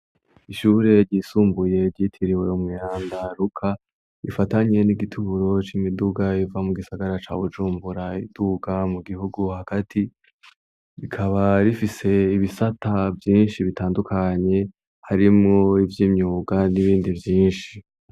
Ishure ryisumbuye gitiriwe Umweranda Ruka ifatanye n'igituro c'imiduga iva mu gisagara ca Bujumbura iduga mu gihugu hagati. Rikaba rifise ibisata vyinshi bitandukanye harimo ivy'imyuga n'ibindi vyinshi.